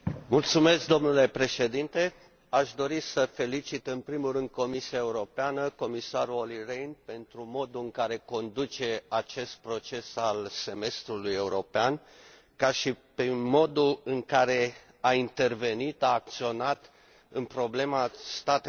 Aș dori să felicit în primul rând Comisia Europeană, pe comisarul Olli Rehn pentru modul în care conduce acest proces al Semestrului european, cât și pentru modul în care a intervenit, a acționat în problema statelor membre aflate în criză.